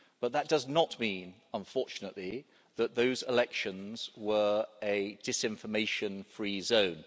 But that does not mean, unfortunately, that those elections were a disinformation free zone.